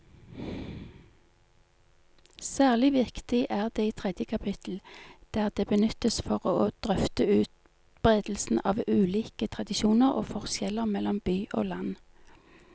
Særlig viktig er det i tredje kapittel, der det benyttes for å drøfte utbredelsen av ulike tradisjoner og forskjeller mellom by og land.